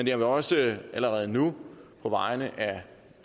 jeg vil også allerede nu på vegne af